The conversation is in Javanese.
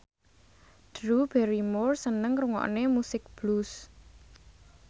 Drew Barrymore seneng ngrungokne musik blues